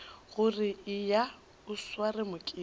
gore eya o sware mokete